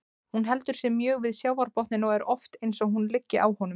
Hún heldur sig mjög við sjávarbotninn og er oft eins og hún liggi á honum.